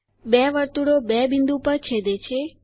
બે વર્તુળો બે બિંદુ પર છેદે છે